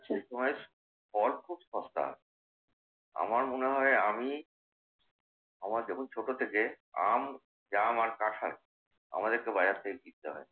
চৈত মাস, ফল খুব সস্তা। আমার মনে হয় আমি আমার যখন ছোট থেকে আম, জাম আর কাঁঠাল আমাদেরকে বাজার থেকে কিনতে হয়